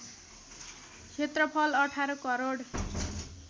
क्षेत्रफल १८ करोड